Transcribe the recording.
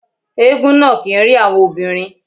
Éégún náà kì ń rí àwọn obìnrin.